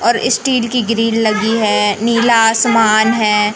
और स्टील की ग्रिल लगी है नीला आसमान है।